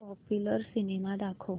popular cinema दाखव